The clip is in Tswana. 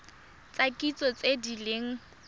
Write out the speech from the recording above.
tsa kitso tse di leng